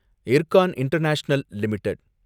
Ircon International limited